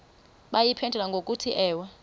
bayiphendule ngokuthi ewe